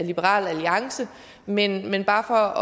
liberal alliance men men bare